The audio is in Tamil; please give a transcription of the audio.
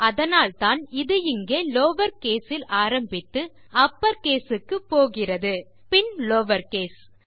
அதனால்தான் இது இங்கே லவர் கேஸ் இல் ஆரம்பித்து அப்பர் கேஸ் க்கு போகிறது பின் லவர் கேஸ்